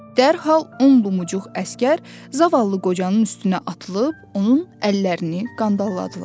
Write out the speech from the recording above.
Dərhal un lumcuq əsgər zavallı qocanın üstünə atılıb onun əllərini qandaladılar.